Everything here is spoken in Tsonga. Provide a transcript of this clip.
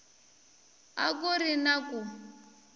a ku ri na ku